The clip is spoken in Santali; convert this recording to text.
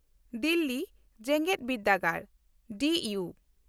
ᱫᱤᱞᱞᱤ ᱡᱮᱜᱮᱫ ᱵᱤᱨᱫᱟᱹᱜᱟᱲ (ᱰᱤᱭᱩ)